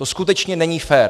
To skutečně není fér!